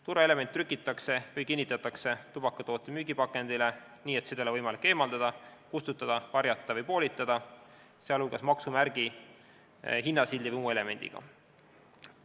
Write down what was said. Turvaelement trükitakse või kinnitatakse tubakatoote müügipakendile nii, et seda ei ole võimalik eemaldada, kustutada, varjata või poolitada, sh maksumärgi, hinnasildi või muu elemendiga.